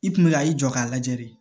I kun bɛ ka i jɔ k'a lajɛ de